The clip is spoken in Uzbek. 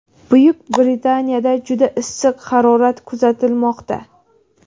Buyuk Britaniyada juda issiq harorat kuzatilmoqda.